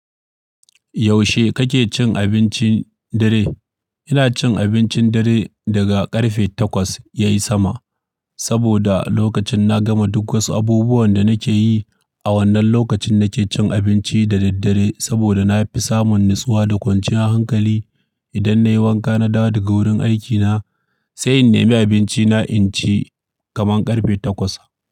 Yaushe kake cin abincin dare? Ina cin abincin dare daga ƙarfe takwas ya yi sama, saboda lokacin na gama duk wasu abubuwan da nake yi. A wannan lokacin nake cin abinci da daddare saboda na fi samun natsuwa da kwanciya hankali. Idan na yi wanka na dawo daga wurin aikina, sai in nemi abinci na in ci kaman ƙarfe takwas.